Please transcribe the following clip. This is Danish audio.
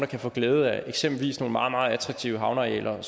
kan få glæde af eksempelvis nogle meget meget attraktive havnearealer